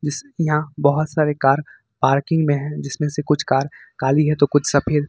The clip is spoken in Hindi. यहां बहोत सारे कार पार्किंग में है जिसमें से कुछ कार काली है तो कुछ सफेद।